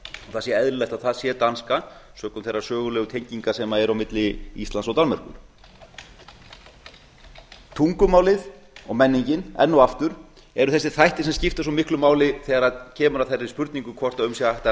það sé eðlilegt að það sé danska sökum þeirra sögulegu tenginga sem eru á milli íslands og danmerkur tungumálið og menningin enn og aftur eru þessir þættir sem skipta svo miklu máli þegar kemur að þeirri spurningu hvort um sé að